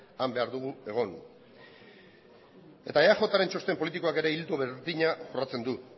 han behar dugu egon eta eajren txosten politikoak ere ildo berdina jorratzen du